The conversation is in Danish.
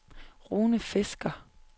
Rune Fisker